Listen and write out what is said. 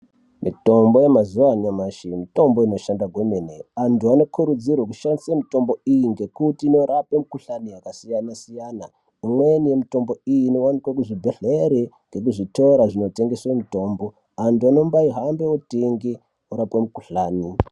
Mutombo yamazuwa anyamushi mutombo inoshanda kwemene antu anokurudziru kushandisemitombo iyi ngekuti inorapa mikuhlani yakasiyana siyana imweni mutombo iyi inowanikwe muzvibhedhleri nekuzvitora kunotengeswe mutombo antu ano mbayihambe tenge orape mukuhlani.